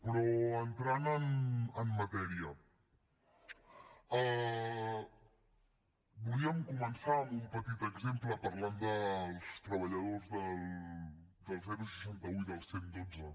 però entrant en matèria volíem començar amb un petit exemple parlant dels treballadors del seixanta un i del cent i dotze